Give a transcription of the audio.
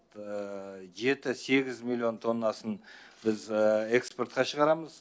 жеті сегіз миллион тоннасын біз экспортқа шығарамыз